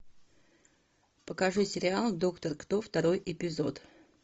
покажи сериал доктор кто второй эпизод